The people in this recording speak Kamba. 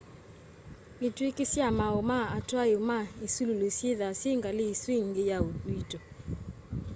itwĩĩkĩ sya maaũ ma atwaĩ ma ĩsũlũlũ syĩtha syĩ ngalĩ ĩsũ ĩngĩ ya ũĩto